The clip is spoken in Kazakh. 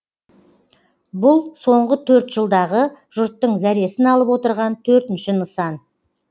бұл соңғы төрт жылдағы жұрттың зәресін алып отырған төртінші нысан